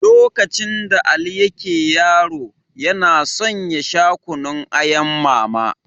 Lokacin da Ali yake yaro, yana son ya sha Kunun ayan Mama.